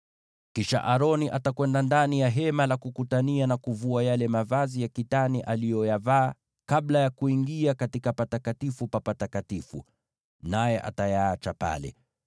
“Kisha Aroni ataenda ndani ya Hema la Kukutania na kuvua yale mavazi ya kitani aliyoyavaa kabla ya kuingia katika Patakatifu pa Patakatifu, naye atayaacha pale.